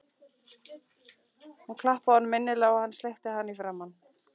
Hún klappaði honum innilega og hann sleikti hana í framan.